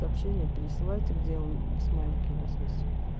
сообщение пересылайте где он смайлики у вас есть